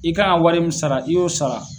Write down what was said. I kan ka wari sara i y'o sara.